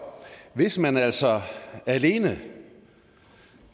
hvis man altså alene